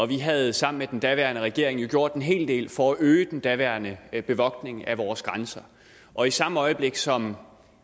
vi havde sammen med den daværende regering jo gjort en hel del for at øge den daværende bevogtning af vores grænser og i samme øjeblik som